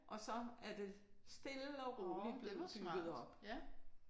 Og så er det stille og roligt blevet bygget op